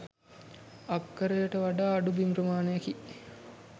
අක්කරට වඩා අඩු බිම් ප්‍රමාණයකි.